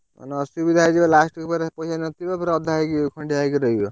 ନ~ ଅସୁବିଧା ହେଇଯିବ last କୁ ଫେରେ ପଇସା ନଥିବ ଫେରେ ଅଧା ହେଇକି ଖଣ୍ଡିଆ ହେଇ ରହିବ।